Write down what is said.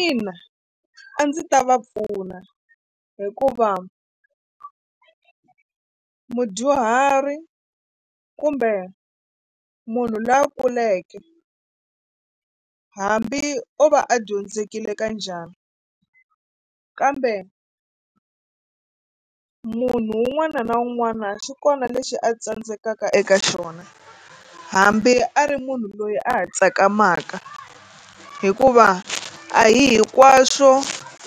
Ina a ndzi ta va pfuna hikuva mudyuhari kumbe munhu loyi a kuleke hambi o va a dyondzekile ka njhani kambe munhu un'wana na un'wana xi kona lexi a tsandzekaka eka xona hambi a ri munhu loyi a ha tsakamaka hikuva a hi hinkwaswo